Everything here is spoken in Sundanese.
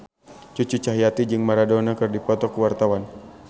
Cucu Cahyati jeung Maradona keur dipoto ku wartawan